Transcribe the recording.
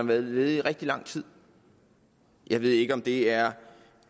været ledig i rigtig lang tid jeg ved ikke om det er